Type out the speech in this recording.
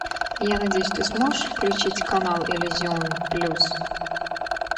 я надеюсь ты сможешь включить канал иллюзион плюс